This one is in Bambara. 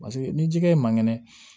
Paseke ni jikɛ ye man kɛnɛ